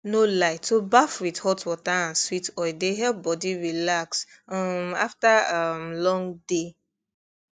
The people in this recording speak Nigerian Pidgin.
no lie to baff with hot water and sweet oil dey help body relax um after um long day